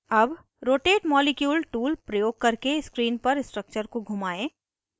अब rotate molecule tool प्रयोग करके screen पर structure को घुमाएं